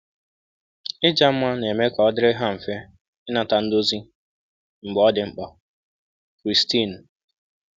Ịja mma na-eme ka ọ dịrị ha mfe ịnata ndozi mgbe ọ dị mkpa.” – Christine.